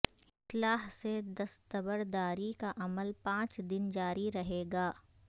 اسلحہ سے دستبرداری کا عمل پانچ دن جاری رہے گا